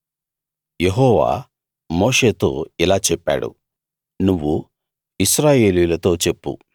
యెహోవా మోషేతో ఇలా చెప్పాడు నువ్వు ఇశ్రాయేలీయులతో చెప్పు